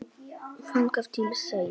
Þangað til seinna.